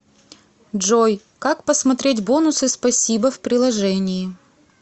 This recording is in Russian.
джой как посмотреть бонусы спасибо в приложении